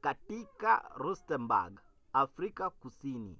katika rustenburg afrika kusini